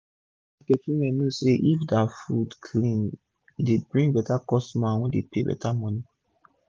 all d market women know say if dia fud clean e dey bring beta customer wey go pay beta moni